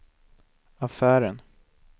affären